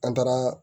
An taara